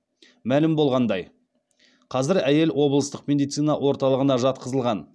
мәлім болғанындай қазір әйел облыстық медицина орталығына жатқызылған